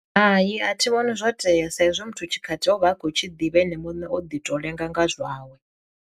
Hai a thi vhoni zwo tea sa izwi muthu tshikhathi o vha a khou tshi ḓivha ene muṋe o ḓi to lenga nga zwawe.